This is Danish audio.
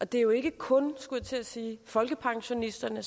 det er jo ikke kun skulle jeg til at sige folkepensionisterne